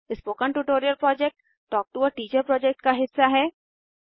spoken tutorial project talk to a teacher project का हिस्सा है